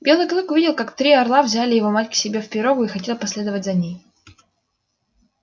белый клык увидел как три орла взял его мать к себе в пирогу и хотел последовать за ней